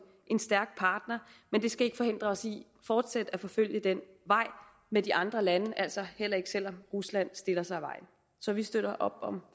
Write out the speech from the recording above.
stærk partner men det skal ikke forhindre os i fortsat at forfølge den vej med de andre lande altså heller ikke selv om rusland stiller sig i vejen så vi støtter op om